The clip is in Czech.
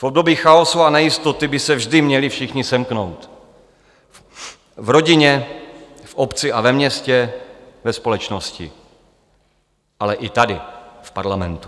V období chaosu a nejistoty by se vždy měli všichni semknout - v rodině, v obci a ve městě, ve společnosti, ale i tady v parlamentu.